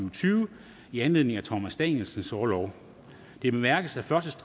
og tyve i anledning af thomas danielsens orlov det bemærkes at første